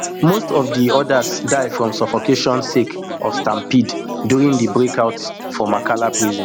most of di odas die from suffocation sake of stampede during di breakout for makala prison